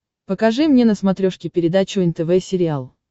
покажи мне на смотрешке передачу нтв сериал